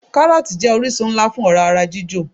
Káròòtì jé orísun nlá fún òrá ara jíjò